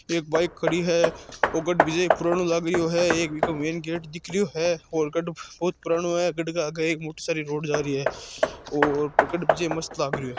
एक बाइक खड़ी हैओ गढ़ पुराणो लागरियो है एक भी को मैन गेट दिख रहो है। और गढ़ बहुत पुराणो है गढ़ के आगे एक मोटी सारी रोड जारी है और गढ़ बहुत मस्त लाग रहो है।